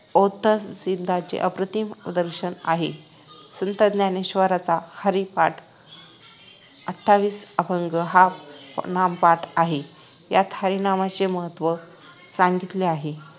अद्वैतसिद्धांतांचे अप्रतिम दर्शन आहे संत ज्ञानेश्वरांचा हरिपाठ आठवीस अभंग हा नामपथ आहे यात हरिनामाचे महत्व सांगितले आहे